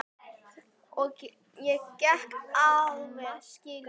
Ég get alveg skilið það.